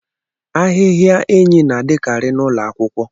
Ahịhịa enyí na-adịkarị n'ụlọ akwụkwọ.